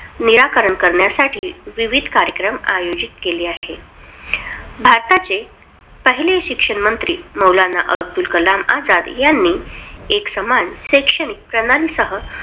निराकरण करण्यासाठी विविध कार्यक्रम आयोजित केले आहे. भारताचे पहिले शिक्षणमंत्री मौलाना अब्दुल कलाम आझाद यांनी एक समान शैक्षणिक प्रणाली सह